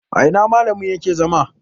a ina malamin yake zama?